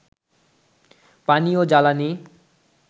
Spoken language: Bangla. পানি ও জ্বালানি